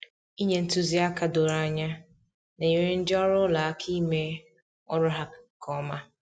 Inye ntụziaka doro anya na-enyere ndị ọrụ ụlọ aka ime ọrụ ha nke ọma.